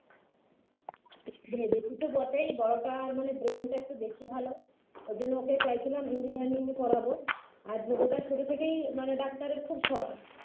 ভেবেছি তো বটেই বড়োটার মানে brain টা একটু বেশি ভালো ঐজন্য ওকে চাইছিলাম engineering পড়াব আর ছোটটার ছোট থেকেই মানে ডাক্তারের খুব শখ